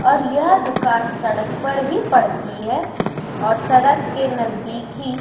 और यह दुकान सड़क पर ही पड़ती है और सड़क के नजदीक ही --